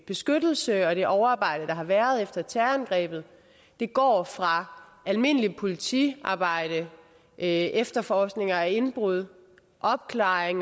beskyttelse og det overarbejde der har været efter terrorangrebet går fra det almindelige politiarbejde efterforskning af indbrud opklaring